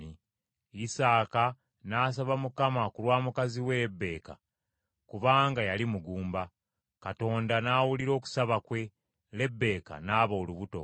Isaaka n’asaba Mukama ku lwa mukazi we Lebbeeka kubanga yali mugumba, Mukama n’awulira okusaba kwe, Lebbeeka naaba olubuto.